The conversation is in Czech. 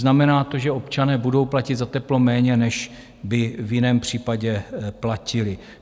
Znamená to, že občané budou platit za teplo méně, než by v jiném případě platili.